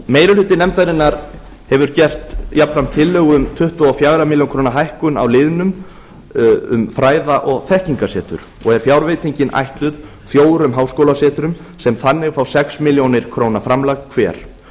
meiri hluti nefndarinnar hefur gert jafnframt tillögu um tuttugu og fjögur á milli króna hækkun á liðnum um fræða og þekkingarsetur og er fjárveitingin ætluð fjórum háskólasetrum sem þannig fá sex milljónir króna framlag hver þau